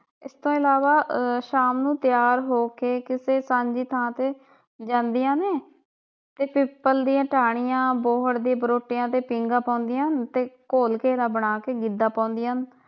ਇਸ ਤੋਂ ਇਲਾਵਾ ਆਹ ਸ਼ਾਮ ਨੂੰ ਤਿਆਰ ਹੋ ਕੇ ਕਿਸੇ ਸਾਂਝੀ ਥਾਂ ਤੇ ਜਾਂਦੀਆਂ ਨੇ ਤੇ ਪਿੱਪਲ ਦੀਆ ਟਾਹਣੀਆਂ, ਬੋਹੜ ਦੇ ਬਰੋਟਿਆਂ ਤੇ ਪੀਂਗਾ ਪਾਉਂਦੀਆਂ ਹਨ ਤੇ ਗੋਲ ਘੇਰਾ ਬਣਾ ਕੇ ਗਿੱਧਾ ਪਾਉਂਦੀਆਂ ਹਨ।